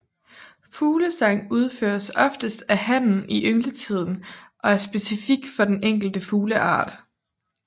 Fuglesang udføres oftest af hannen i yngletiden og er specifik for den enkelte fugleart